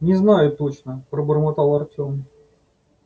не знаю точно пробормотал артем